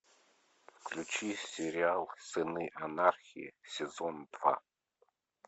включи сериал сыны анархии сезон два